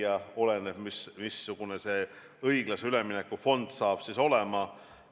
See oleneb sellest, missugune see õiglase ülemineku fond saab olema.